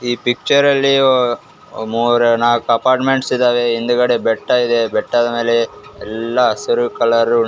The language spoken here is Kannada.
ಈ ಪಿಕ್ಚರಲ್ಲಿ ಮೂವರು ನಾಲ್ಕು ಅಪಾರ್ಟ್ಮೆಂಟ್ಸ್ ಇದಾವೆ ಹಿಂದ್ಗಡೆ ಬೆಟ್ಟ ಇದೆ ಬೆಟ್ಟದ ಮೇಲೆ ಎಲ್ಲ ಹಸಿರು ಕಲರ್ .